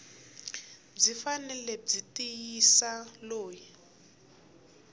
byi fanele byi tivisa loyi